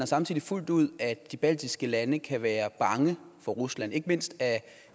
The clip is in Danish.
samtidig fuldt ud at de baltiske lande kan være bange for rusland ikke mindst af